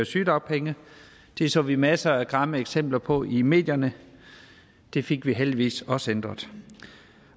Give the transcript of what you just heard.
sygedagpenge det så vi masser af grimme eksempler på i medierne det fik vi heldigvis også ændret